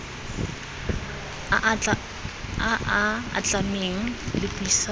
a a atlhameng le puisano